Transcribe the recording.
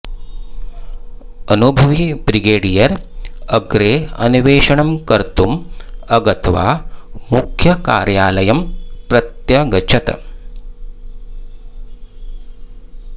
अनुभवी ब्रिगडियर् अग्रे अन्वेषणं कर्तुम् अगत्वा मुख्यकार्यालयं प्रत्यगच्छत्